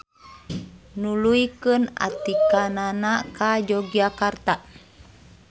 Nuluykeun atikanana ka Yogyakarta.